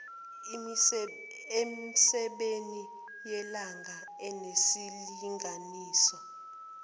emisebeni yelanga enesilinganiso